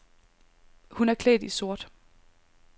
Hun er klædt i sort.